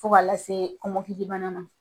Fo k'a lase kɔmɔkilibana ma.